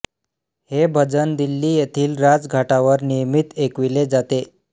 हे भजन दिल्ली येथील राजघाटावर नियमित ऐकविले जाते